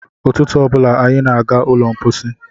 Ụtụtụ ọ bụla anyị na-aga n'ụlọ mkpọsi.